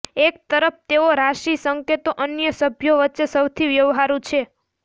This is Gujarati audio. એક તરફ તેઓ રાશિ સંકેતો અન્ય સભ્યો વચ્ચે સૌથી વ્યવહારુ છે